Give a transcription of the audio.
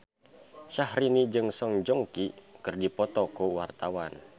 Syahrini jeung Song Joong Ki keur dipoto ku wartawan